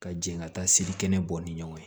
Ka jɛn ka taa selikɛnɛ bɔ ni ɲɔgɔn ye